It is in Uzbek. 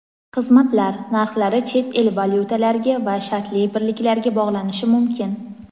xizmatlar) narxlari chet el valyutalariga va shartli birliklarga bog‘lanishi mumkin.